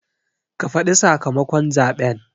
Ka faɗi sakamakon zaɓen